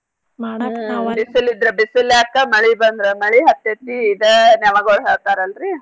ಬಿಸಲ್ ಇದ್ರ ಬಿಸಲ್ ಯಾಕ ಮಳಿ ಬಂದ್ರ ಮಳಿ ಹತ್ತೇತಿ ಇದಾ ನೆವಗುಳ್ ಹೇಳ್ತಾರಲ್ರೀ.